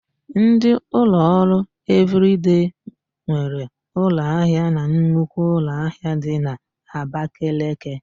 Ndị ụlọọrụ Evịrịdei nwere ụlọahịa na nnukwu ụlọahịa dị n'Abakeleke.